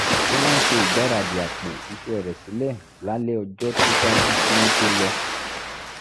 ó máa ń ṣe ìgbáradì àpò iṣẹ́ rẹ̀ sílẹ̀ lálẹ́ ọjọ́ tó ṣáájú kí wọ́n tó lọ